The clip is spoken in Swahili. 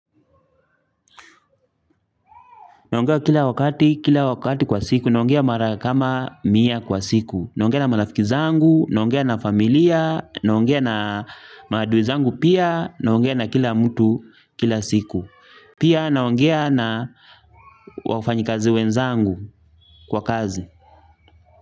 Naongea kila wakati, kila wakati kwa siku, naongea mara kama mia kwa siku. Naongea na marafiki zangu, naongea na familia, naongea na maadui zangu pia, naongea na kila mtu kila siku. Pia naongea na wafanyikazi wenzangu kwa kazi.